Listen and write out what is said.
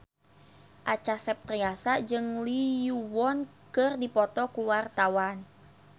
Acha Septriasa jeung Lee Yo Won keur dipoto ku wartawan